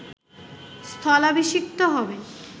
স্থলাভিষিক্ত হবেন